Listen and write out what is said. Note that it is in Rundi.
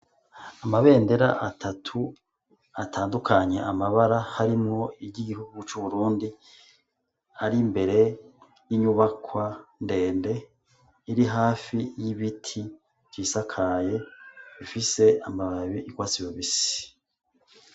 Amabendera atatu atandukanye amabara harimwo iryo igihugu c'uburundi ari mbere y'inyubakwa ndende iri hafi y'ibiti vyisakaye bifise amababi ikoa sibobisi.